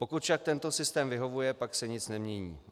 Pokud však tento systém vyhovuje, pak se nic nemění.